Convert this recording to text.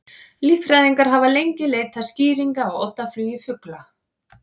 Líffræðingar hafa lengi leitað skýringa á oddaflugi fugla.